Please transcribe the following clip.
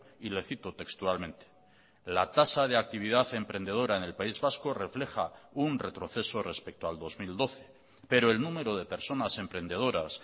y le cito textualmente la tasa de actividad emprendedora en el país vasco refleja un retroceso respecto al dos mil doce pero el número de personas emprendedoras